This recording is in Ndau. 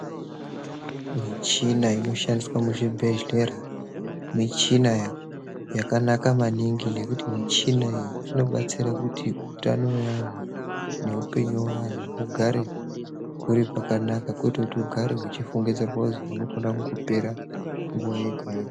Michina inofamba muzvibhedhlera muchina wakanaka maningi nekuti michina ngekuti hutano uwu ugare uri kwakanaka nguwa yega yega.